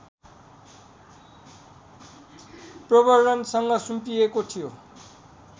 प्रबर्द्धनसँग सुम्पिएको थियो